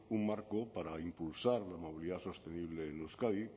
un marco para impulsar la movilidad sostenible en euskadi